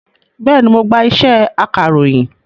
Bẹ́ẹ̀ni, mo gba iṣẹ́ akàròyìn